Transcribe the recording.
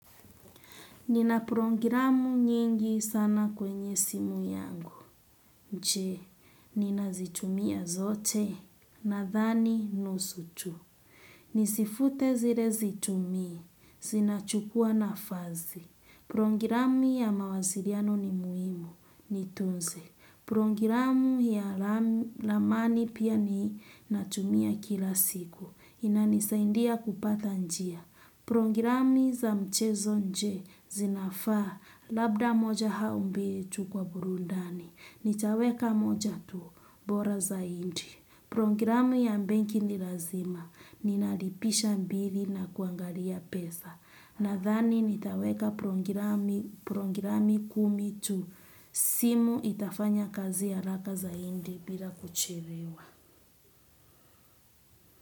Nina programu nyingi sana kwenye simu yangu, je. Ninazitumia zote nadhani nusu tu. Nizifute zile situmii, zinachukua nafasi. Programu ya mawasiliano ni muhimu, nitunze. Programu ya ramani pia ninatumia kila siku, inanisaidia kupata njia. Programi za mchezo je zinafaa labda moja au mbili tu kwa burudani. Nitaweka moja tu bora zaidi. Programu ya benki ni lazima ninalipisha mbili na kuangalia pesa. Nadhani nitaweka programi kumi tu simu itafanya kazi haraka zaidi bila kuchelewa.